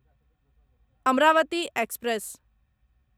Amravati express